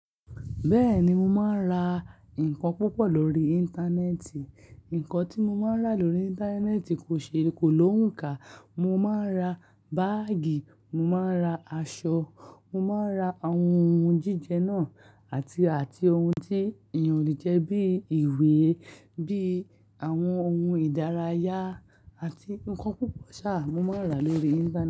Bẹ́ẹ̀ni, mo máa ń ra nǹkan púpọ̀ lórí Íńtánẹ́ẹ̀tì. Nǹkan tí mo máa ń rà lórí Íńtánẹ́ẹ̀tì kò ṣe kò lóhùn ká. Mo máa ń ra báágì, mo máa ń ra aṣọ, mo máa ń ra àwọn ohun jíjẹ náà àti, àti ohun tí èèyàn le jẹ́ bí i ìwé, bí i àwọn ohun ìdárayá àti nnkan púpọ̀ sáà mo máa ń rà lórí Íńtánẹ́ẹ̀tì.